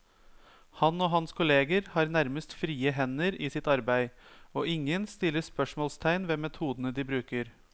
Han og hans kolleger har nærmest frie hender i sitt arbeid, og ingen stiller spørsmålstegn ved metodene de bruker.